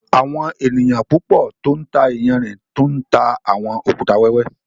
Àwọn ènìyàn púpọ̀ tó ńtà ìyànṛín tú ńtà awọn òkútà wẹwẹ.